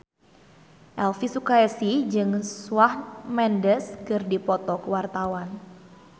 Elvi Sukaesih jeung Shawn Mendes keur dipoto ku wartawan